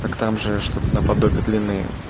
так там же что-то наподобие длины